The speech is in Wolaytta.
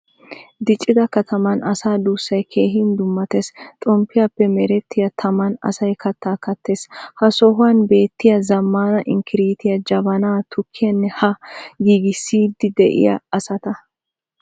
Diccida kataman asaa duusay keehin dummatees. Xomppiyappe merettiyaa taman asay katta kattees. Ha sohuwan beettiyay zamaanaa inkkirttiya, jabanaa, tukkiyane ha giigisidi deiya asatta.